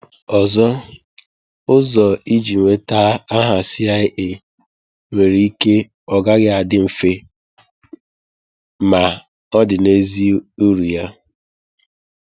Ọzọ ụzọ iji nweta aha CIA nwere ike ọ gaghị adị mfe, ma ọ dị n'ezie uru ya!